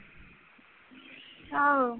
ਆਹੋ